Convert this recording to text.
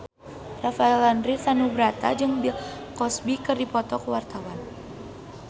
Rafael Landry Tanubrata jeung Bill Cosby keur dipoto ku wartawan